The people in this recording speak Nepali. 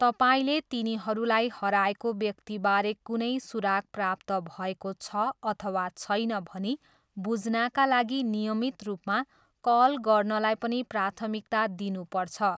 तपाईँले तिनीहरूलाई हराएको व्यक्तिबारे कुनै सुराग प्राप्त भएको छ अथवा छैन भनी बुझ्नाका लागि नियमित रूपमा कल गर्नलाई पनि प्राथमिकता दिनुपर्छ।